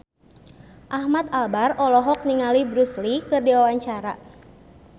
Ahmad Albar olohok ningali Bruce Lee keur diwawancara